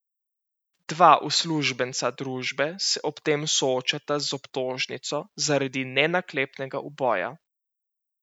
Dva uslužbenca družbe se ob tem soočata z obtožnico zaradi nenaklepnega uboja.